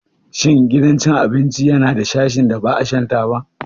Shin gidan cin abinci yana da sashin da ba shan taba ba?